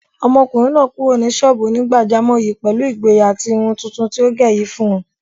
Ọmọkùnrin náà kúrò ní sọ́ọ̀bù onígbàjámọ̀ yìí pẹ̀lú ìgboyà tí irun tuntun tí ó gẹ̀ yìí fún un.